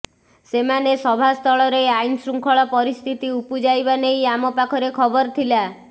ସେମାନେ ସଭାସ୍ଥଳରେ ଆଇନଶୃଙ୍ଖଳ ପରିସ୍ଥିତି ଉପୁଜାଇବା ନେଇ ଆମ ପାଖରେ ଖବର ଥିଲା